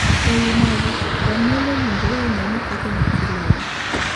E wii magi, janyuol owinjore onee ni koke nyathi leyo.